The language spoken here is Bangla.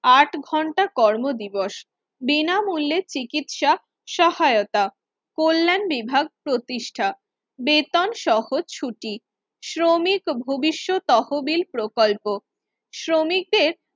আট ঘন্টা কর্ম দিবস বিনামূল্যে চিকিৎসা সহায়তা কল্যাণ বিভাগ প্রতিষ্ঠা বেতন সহ ছুটি শ্রমিক ভবিষ্যৎ তহবিল প্রকল্প শ্রমিকদের